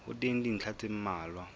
ho teng dintlha tse mmalwa